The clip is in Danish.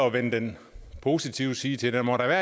at vende den positive side til den må da